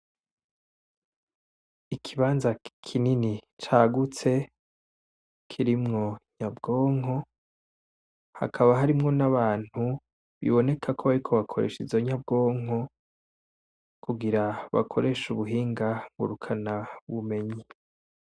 Ikibanza kinini cagutse kirimwo inyabwonko hakaba harimwo n'abantu biboneka ko bariko bakoresha izo nyabwonko kugira bakoreshe ubuhinga ngurukanabumenyi.